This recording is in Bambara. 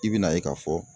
I bɛna ye k'a fɔ